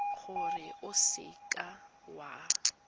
gore o seka w a